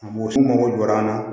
U mago jɔra an na